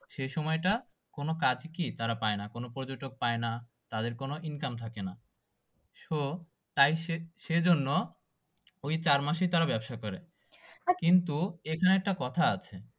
সেই সময়টা কোনো কাজ ই কি তারা পায়না কোনো পর্যটক পায়না তাদের কোনো income থাকেনা so তাই সে সেজন্য ওই চার মাসেই তারা ব্যবসা করে কিন্তু এখানে একটা কথা আছে